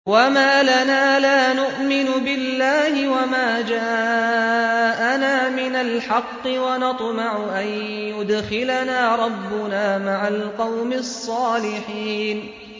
وَمَا لَنَا لَا نُؤْمِنُ بِاللَّهِ وَمَا جَاءَنَا مِنَ الْحَقِّ وَنَطْمَعُ أَن يُدْخِلَنَا رَبُّنَا مَعَ الْقَوْمِ الصَّالِحِينَ